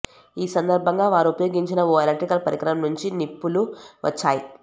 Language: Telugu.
ఈ సందర్భంగా వారు ఉపయోగించిన ఓ ఎలక్ట్రికల్ పరికరం నుంచి నిప్పులు వచ్చాయి